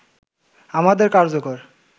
আমাদের কার্যকর